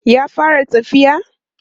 ya fara tafiya?